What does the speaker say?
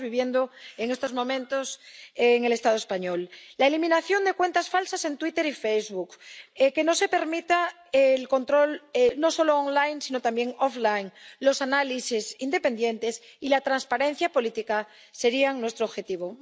Lo estamos viviendo en estos momentos en el Estado español. La eliminación de cuentas falsas en Twitter y Facebook, que no se permita el control no solo online sino también offline los análisis independientes y la transparencia política serían nuestro objetivo.